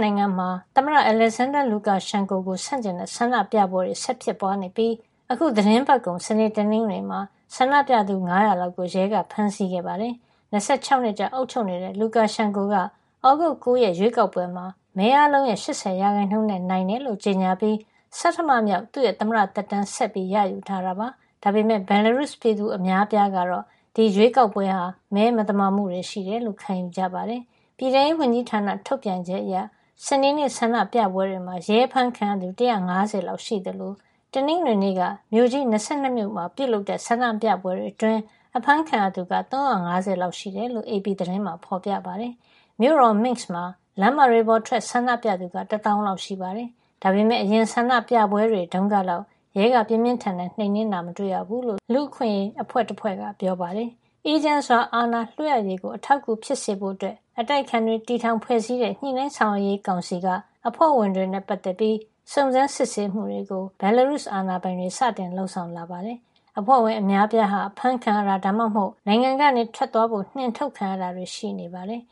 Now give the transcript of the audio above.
နိုင်ငံမှာ သမ္မတ Alexander Lukashenko ကို ဆန့်ကျင်တဲ့ ဆန္ဒပြပွဲတွေ ဆက်လက်ဖြစ်ပွါး နေပြီး အခုသီတင်းပတ်ကုန် စနေ၊ တနင်္ဂနွေမှာ ဆန္ဒပြသူ ၅၀၀ လောက် ကို ရဲကဖမ်းဆီးခဲ့ပါတယ်။၂၆ နှစ်ကြာ အုပ်ချုပ်နေတဲ့ Lukashenko က သြဂုတ်လ ၉ ရက်ရွေးကောက်ပွဲမှာ မဲအားလုံးရဲ့ ၈၀ ရာခိုင်နှုန်းနဲ့ အနိုင်ရတယ်လို့ ကြေညာပြီး ဆဌမမြောက် သမ္မတသက်တမ်းကို ဆက်လက်ရယူထားတာပါ။ ဒါပေမယ့် Belarus ပြည်သူအများအပြားကတော့ ဒီရွေးကောက်ပွဲဟာ မဲမသမာမှုတွေ ရှိတယ်လို့ ခံယူထားကြပါတယ်။ ပြည်ထဲရေးဝန်ကြီးဌာနထုတ်ပြန်ချက်အရ စနေနေ့ဆန္ဒပြပွဲတွေမှာ ရဲအဖမ်းခံရသူ ၁၅၀ လောက်ရှိသလို တနင်္ဂနွေနေ့က မြို့ကြီး ၂၂ မြို့မှာ ပြုလုပ်တဲ့ ဆန္ဒပြပွဲတွေ အတွင်း အဖမ်းခံရသူ ၃၅၀ လောက်ရှိတယ်လို့ AP သတင်းမှာ ဖေါ်ပြထားပါတယ်။ မြို့တော် Minsk မှာ လမ်းမတွေပေါ်ထွက် ဆန္ဒပြသူက တသောင်းလောက် ရှိပါတယ်။ ဒါပေမယ့် အရင်ဆန္ဒပြပွဲတွေတုန်းကလောက် ရဲက ပြင်းပြင်းထန်ထန် နှိမ်းနင်းတာ မတွေ့ရဘူးလို့ လူ့အခွင့်ရေး အဖွဲ့တဖွဲ့က ပြောပါတယ်။ အေးချမ်းစွာ အာဏာလွှဲအပ်ရေးကို အထောက်အကူဖြစ်စေဖို့ အတိုက်အခံတွေ တည်ထောင်ဖွဲ့စည်းတဲ့ ညှိနှိုင်းဆောင်ရွက်ရေးကောင်စီ က အဖွဲ့ဝင်တွေနဲ့ပတ်သက်ပြီး စုံစမ်းစစ်ဆေးမှုတွေကို Belarus အာဏာပိုင်တွေ စတင်လုပ်ဆောင်လာပါတယ်။ဒီအဖွဲ့ဝင် အများအပြားဟာ အဖမ်းခံရတာ ဒါမှမဟုတ် နိုင်ငံကနေ ထွက်သွားဖို့ နှင်အထုတ်ခံရတာတွေ ရှိနေတယ်